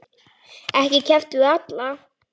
Ekki keppt við alla?